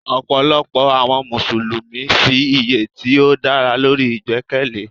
Ọ̀pọ̀lọpọ̀ àwọn Mùsùlùmí fi iye tí ó dára lórí ìgbẹ́kẹ̀lé.